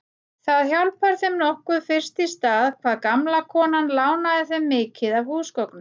Það hjálpar þeim nokkuð fyrst í stað hvað gamla konan lánaði þeim mikið af húsgögnum.